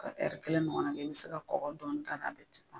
A bi kelen ɲɔgɔn na kɛ , i bi se ka kɔkɔ dɔɔni k'a la a be